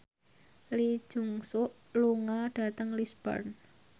Lee Jeong Suk lunga dhateng Lisburn